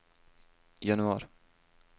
januar